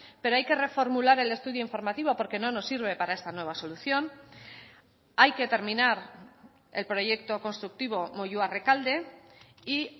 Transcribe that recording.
pero hay que reformular el estudio informativo porque no nos sirve para esta nueva solución hay que terminar el proyecto constructivo moyua rekalde y